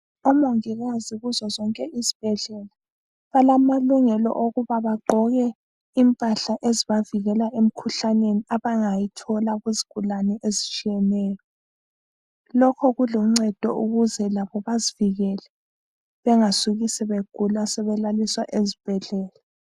Omongikazi kuzozonke izibhedlela balamalungelo okuba bagqoke impahla ezibavikela emkhuhlaneni abangayithola kuzigulane ezitshiyeneyo. Lokho kuluncedo ukuze labo bazivikele, bengasuki sebegula sebelaliswa ezibhedlela.